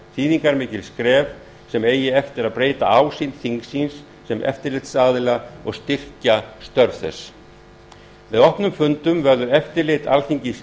þýðingarmikið skref sem eigi eftir að breyta ásýnd þingsins sem eftirlitsaðila og styrkja störf þess með opnum fundum verður eftirlit alþingis